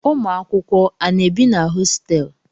Ụmụakwụkwọ a na-ebi na hositelu?